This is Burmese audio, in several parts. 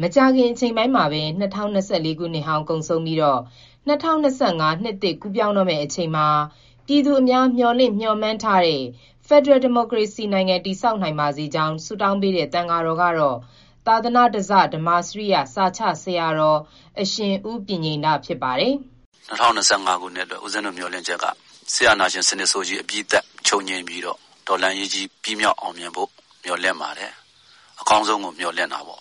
မကြာခင်အချိန်ပိုင်းမှာပဲ ၂၀၂၄ နှစ်ဟောင်းကုန်ဆုံးပြီး ၂၀၂၅ နှစ်သစ်ကူးပြောင်းပါတော့မယ်။ ၂၀၂၅ ခုနှစ်ထဲမှာ ပြည်သူအများ မျှော်လင့်မျှော်မှန်းထားတဲ့ ဖက်ဒရယ်ဒီမိုကရေစီနိုင်ငံ တည်ဆောက်နိုင် ပါစေကြောင်း ဆုတောင်းပေးတဲ့ သံဃာတော်ကတော့ သာသနဓဇ ဓမ္မာစရိယ စာချဆရာတော် အရှင်ဦးပညိန္ဒ ဖြစ်ပါတယ်။ "၂၀၂၅ အတွက် ဦးဇင်းတို့မျှော်လင့်ချက်က စစ်အာဏာရှင်ဆိုးကြီး အပြီးသတ် ချုပ်ငြိမ်းပြီးတော့ တော်လှန်ရေးကြီး အပြီးသတ်ဖို့ မျှော်လင့်ပါတယ်။ အကောင်းဆုံးကို မျှော်လင့်တာပေါ့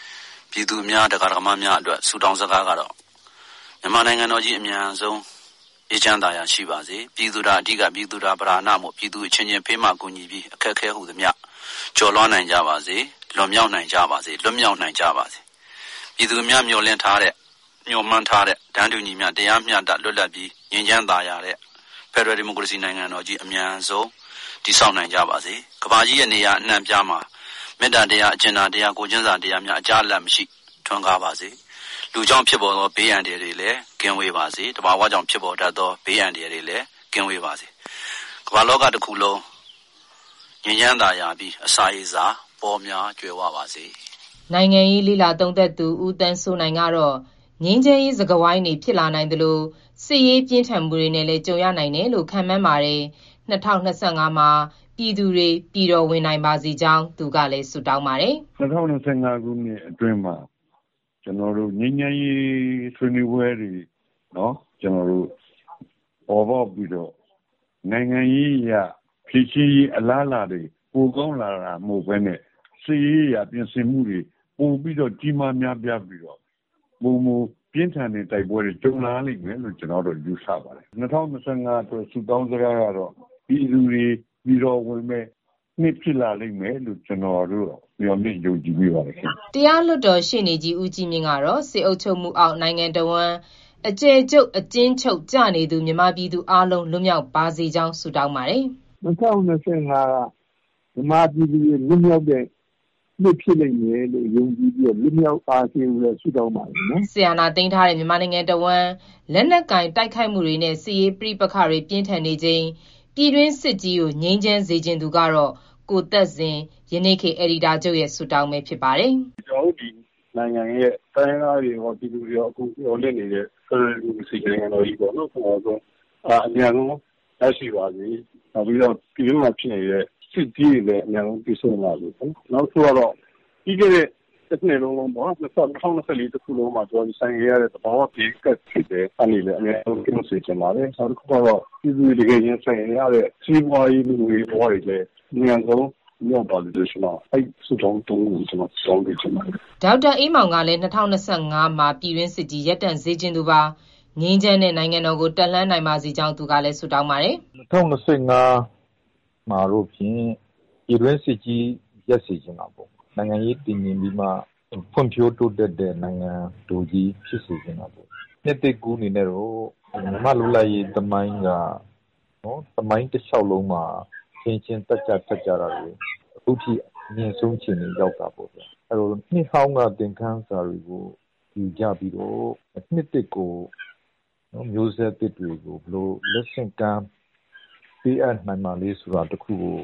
။ ပြည်သူတွေ၊ ဒကာဒယကာမတွေအတွက် ဆုတောင်းစကားကတော့ မြန်မာနိုင်ငံတော်ကြီး အမြန်ဆုံး အေးချမ်း သာယာရှိပါစေ။ ပြည်သူသာအဓိက ပြည်သူသာပဓာနမို့အချင်းချင်း ဖေးမကူညီပြီး အခက်အခဲ ဟူသမျှ ကျော်လွှားနိုင်ကြပါစေ၊ လွန်မြောက်နိုင်ကြပါစေ၊ လွတ်မြောက်နိုင်ကြပါစေ။ ပြည်သူအများ မျှော်လင့်ထားတဲ့၊ မျှော်မှန်းထားတဲ့ တန်းတူညီမျှ တရားမျှတ လွတ်လပ်ပြီး ငြိမ်းချမ်းသာယာတဲ့ ဖက်ဒရယ်ဒီမိုကရေစီနိုင်ငံကြီး အမြန်ဆုံး တည်ဆောက်နိုင်ကြပါစေ။ ကမ္ဘာကြီးရဲ့ နေရာအနှံ့အပြားမှာ မေတ္တာတရား၊ အကြင်နာတရား ကိုယ်ချင်းစာတရားများ အကြားအလပ်မရှိ ထွန်းကားပါစေ၊ လူ ကြောင့်ဖြစ်တဲ့ ဘေးအန္တရာယ်တွေ ကင်းဝေးပါစေ။ သဘာဝကြောင့်ဖြစ်ပေါ်တတ်သော ဘေးအန္တရာယ် တွေလည်း ကင်းဝေးပါစေ။ ကမ္ဘာလောကတခုလုံး ငြိမ်းချမ်းသာယာပြီး အစာရေစာပေါများ ကြွယ်ဝပါစေ။" နိုင်ငံရေးလေ့လာသုံးသပ်သူ ဦးသန်းစိုးနိုင် ကတော့ ငြိမ်းချမ်းရေးစကားဝိုင်းတွေ ဖြစ်လာနိုင်သလို စစ်ရေးပြင်းထန်မှုတွေနဲ့လည်း ကြုံရနိုင်တယ်လို့ ခန့်မှန်းပါတယ်။ ၂၀၂၅ မှာ ပြည်သူတွေ ပြည်တော်ဝင်နိုင်ပါစေကြောင်းလည်း သူက ဆုတောင်းပါတယ်။ "၂၀၂၅ မှာ ငြိမ်းချမ်းရေးဆွေးနွေးပွဲတွေ ပေါ်ပေါက်ပြီးတော့ နိုင်ငံရေးအရ ဖြေရှင်းရေးအလားလာ ပိုကောင်းလာတာ မဟုတ်ဘဲနဲ့ စစ်ရေး အရပြင်ဆင်မှုတွေ ပိုကြီးမား များပြားပြီးတော့ ပိုမိုပြင်းထန်တဲ့ တိုက်ပွဲတွေ ကြုံလာရမယ်လို့ ကျနော်ယူဆမိပါတယ်။ ၂၀၂၅ ဆုတောင်းကတော့ ပြည်သူတွေ ပြည်တော်ဝင်မယ့်နှစ် ဖြစ်လာလိမ့်မယ်လို့ ကျနော်တို့ မျှော်လင့်မိပါတယ်။" တရားလွှတ်တော်ရှေ့နေကြီး ဦးကြီးမြင့်ကတော့ စစ်အုပ်ချုပ်မှုအောက် နိုင်ငံတဝန်း အကျယ်ချုပ် အကျဉ်းချုပ်ကျနေသူ မြန်မာပြည်သူအားလုံး လွတ်မြောက်ပါစေကြောင်း ဆုတောင်းပါတယ်။ "၂၀၂၅က မြန်မာပြည်သူတွေ လွတ်မြောက်မယ့်နှစ်ဖြစ်မယ်လို့ ယုံကြည်ပြီးတော့ လွတ်မြောက်ပါစေလို့ ဆုတောင်းပါတယ်နော်။" စစ်အာဏာသိမ်းထားတဲ့ မြန်မာနိုင်ငံတဝန်း လက်နက်ကိုင် တိုက်ခိုက်မှုတွေနဲ့ စစ်ရေးပဋိပက္ခတွေ ပြင်းထန်နေချိန် ပြည်တွင်းစစ်ကြီး ငြိမ်းစေချင်သူကတော့ ကိုသက်ဇင် ရဲ့ ဆုတောင်း ဖြစ်ပါတယ်။ "ကျနော်တို့နိုင်ငံရဲ့ တိုင်းရင်းသားတွေကော၊ ပြည်သူတွေကော အကုန်မျှော်လင့်နေတဲ့ ဖက်ဒရယ် ဒီမိုကရေစီနိုင်ငံတော်ကြီး အမြန်ဆုံး ရပါစေ။ ပြည်တွင်းမှာဖြစ်နေတဲ့ စစ်ကြီးတွေလည်း အမြန်ဆုံး ပြီးဆုံးပါစေ။ နောက်တခုကတော့ ပြီးခဲ့တဲ့နှစ်မှာ ရင်ဆိုင်ခဲ့ရတဲ့ သဘာဝဘေးတွေ၊ ၂၀၂၄ မှာခံရတဲ့ သဘာဝဘေးတွေအကုန် ဒီနှစ်မှာ လွတ်မြောက်စေချင်ပါတယ်။ နောက်ပြည်သူတွေ တကယ် ရင်ဆိုင်နေရတဲ့ စီးပွားရေး လူမှုရေးဘဝ အခက်အခဲတွေလည်း အမြန်ဆုံး လွတ်မြောက်ပါစေလို့ ကျနော် ဆုတောင်းပေးချင်ပါတယ်။" ဒေါက်တာအေးမောင် ကလည်း ၂၀၂၅ မှာ ပြည်တွင်းစစ်ကြီး ရပ်တန့်စေချင်သူပါ။ ငြိမ်းချမ်းတဲ့ နိုင်ငံတော်ကို တက်လှမ်းနိုင်ပါစေကြောင်း သူကလည်း ဆုတောင်းပါတယ်။ "၂၀၂၅ မှာတော့ဖြင့် ပြည်တွင်းစစ်ကြီး ရပ်စေချင်တာပေါ့။ နိုင်ငံရေးတည်ငြိမ်ပြီးမှ ဖွံ့ဖြိုးတိုးတက်တဲ့ နိုင်ငံတော်ကြီးဖြစ်စေချင်တာပေါ့။ နှစ်သစ်ကူးအနေနဲ့ မြန်မာ့လွတ်လပ်ရေးသမိုင်းက သမိုင်းတလျှောက်လုံးမှာ အချင်းချင်းသတ်ဖြတ်ကြတာတွေခုထိ အမြင့်ဆုံး အခြေအနေ ရောက်တာ ပေါ့ဗျာ။ နှစ်ဟောင်းက သင်ခန်းစာတွေကို ယူကြပြီးတော့ နှစ်သစ်ကို မျိူးဆက်သစ်တွေကို ဘယ်လို လက်ဆင့်ကမ်း ပေးအပ်နိုင်မလဲ ဆိုတာတခုကို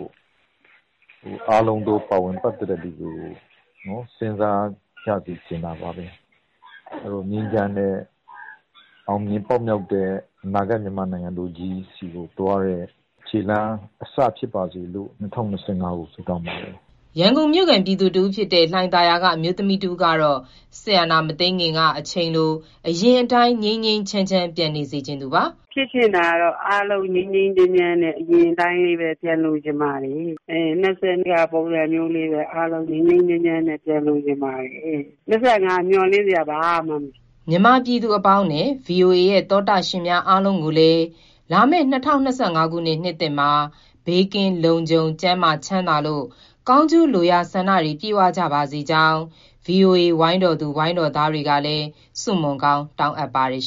အားလုံးသော ပါဝင်ပတ်သတ်သူတွေကို စဉ်းစားကြစေ ချင်တာပါဘဲ။ ငြိမ်းချမ်းတဲ့ အောင်မြင် ပေါက်မြောက်တဲ့ အနာဂါတ် မြန်မာနိုင်ငံဆီကိုသွားတဲ့ ခြေလှမ်းအစဖြစ်ပါစေလို့ ဆုတောင်းပါတယ်။" ရန်ကုန်မြို့ခံ ပြည်သူတဦးဖြစ်တဲ့ လှိုင်သာယာက အမျိုးသမီးတဦးကတော့ စစ်အာဏာမသိမ်းခင်က အချိန်လို အရင်အတိုင်း ငြိမ်းငြိမ်းချမ်းချမ်း ပြန်နေစေချင်သူပါ။ "ဖြစ်ချင်တာကတော့ အားလုံး ငြိမ်းငြိမ်းချမ်းချမ်းနဲ့ အရင်အတိုင်းလေးပဲ ပြန်လိုချင်ပါတယ်။ ၂၀၂၀ ကလို ပုံစံမျိူးလေးပဲ ငြိမ်းငြိမ်းချမ်းချမ်း ပြန်လိုချင်ပါတယ်။ ၂၀၂၅ မှာတော့ မျှော်လင့်စရာ ဘာမှမရှိပါဘူး။" မြန်မာပြည်သူအပေါင်းနဲ့ ဗွီအိုအေရဲ့သောတရှင်များအားလုံးကိုလည်း လာမယ့် ၂၀၂၅ ခုနှစ် နှစ်သစ်မှာ ဘေးကင်းလုံခြုံ ကျန်းမာချမ်းသာလို့ ကောင်းကျိုးလိုရာဆန္ဒတွေ ပြည့်ဝကြပါစေကြောင်း ဗွီအိုအေ ဝိုင်းတော်သူ ဝိုင်းတော်သားတွေကလည်း ဆုမွန်ကောင်းတောင်းအပ်ပါတယ်